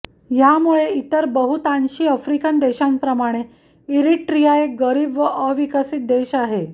ह्यामुळे इतर बहुतांशी आफ्रिकन देशांप्रमाणे इरिट्रिया एक गरीब व अविकसित देश आहे